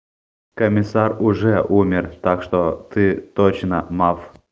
комиссар уже умер так что ты точно малф